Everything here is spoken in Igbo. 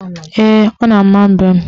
Ee, ọ na-ama mbem.